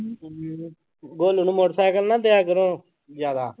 ਹਮ ਗੋਲੂ ਨੀ motorcycle ਨਾ ਦਿਆ ਕਰੋ ਜ਼ਿਆਦਾ।